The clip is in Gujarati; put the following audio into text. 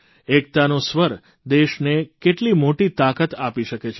એકતાનો સ્વર દેશને કેટલી મોટી તાકાત આપી શકે છે